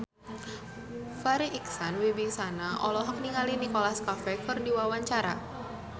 Farri Icksan Wibisana olohok ningali Nicholas Cafe keur diwawancara